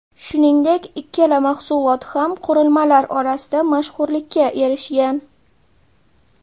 Shuningdek, ikkala mahsulot ham qurilmalar orasida mashhurlikka erishgan.